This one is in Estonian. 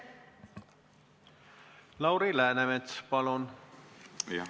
Lauri Läänemets, palun!